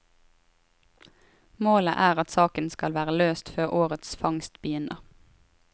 Målet er at saken skal være løst før årets fangst begynner.